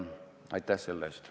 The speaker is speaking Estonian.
Aitäh talle!